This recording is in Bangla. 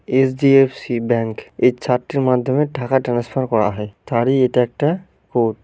এইচ.ডি.এফ.সি ব্যাঙ্ক এই চার্টটির মাধ্যমে টাকা ট্রান্সফার করা হয় তারই এটা একটা কোড।